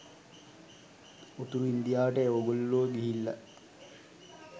උතුරු ඉන්දියාවට ඕගොල්ලෝ ගිහිල්ල